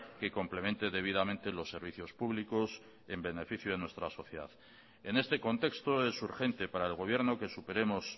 que complemente debidamente los servicios públicos en beneficio de nuestra sociedad en este contexto es urgente para el gobierno que superemos